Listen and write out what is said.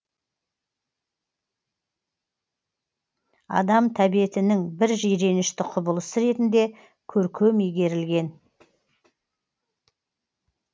адам тәбетінің бір жиренішті құбылысы ретінде көркем игерілген